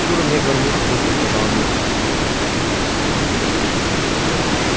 чур мне горбушу быстро сказала мирра